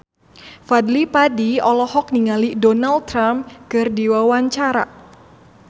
Fadly Padi olohok ningali Donald Trump keur diwawancara